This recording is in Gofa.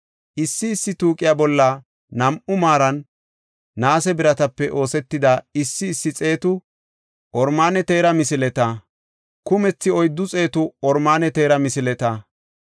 issi issi tuuqiya bolla nam7u maaran naase biratape oosetida issi issi xeetu oromaane teera misileta, kumethi oyddu xeetu oromaane teera misileta,